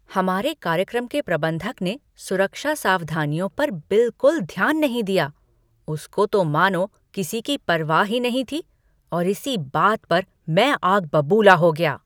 हमारे कार्यक्रम के प्रबंधक ने सुरक्षा सावधानियों पर बिलकुल ध्यान नहीं दिया। उसको तो मानो किसी की परवाह ही नहीं थी और इसी बात पर मैं आग बबूला हो गया।